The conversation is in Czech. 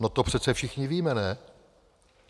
No to přece všichni víme, ne?